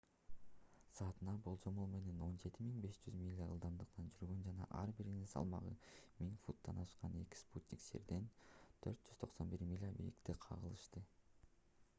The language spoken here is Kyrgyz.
саатына болжол менен 17 500 миля ылдамдыкта жүргөн жана ар биринин салмагы 1000 фунттан ашкан эки спутник жерден 491 миля бийиктикте кагылышты